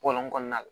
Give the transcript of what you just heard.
Bɔlɔn kɔnɔna la